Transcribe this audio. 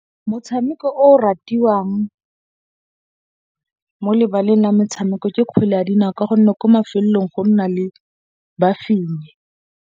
Motshameko o ratiwang mo lebaleng la metshameko ke kgwele ya dinao ka gonne kwa mafelong go nna le ba fenyi.